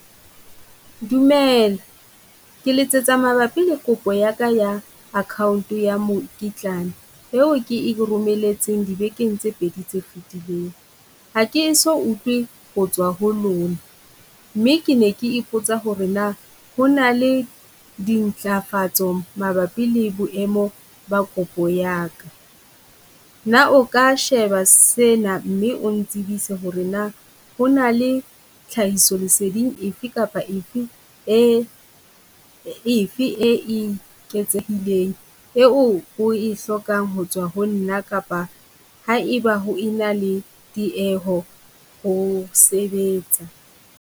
Dumela ke letsetsa mabapi le kopo ya ka ya account ya mekitlane eo ke e romelletseng dibekeng tse pedi tse fitileng. Ha ke so ho tswa ho lona, mme ke ne ke ipotsa ho re na hona le dintlafatso mabapi le boemo ba kopo ya ka? Na o ka sheba sena mme ong tsebise ho re na, hona le tlhahiso leseding efe kapa efe e efe e eketsehileng, eo o e hlokang ho tswa ho nna kapa ha e ba ho ena le tieho ho sebetsa?